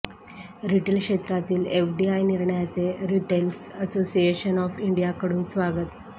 retail क्षेत्रातील FDI निर्णयाचे retailers association of इंडियाकडून स्वागत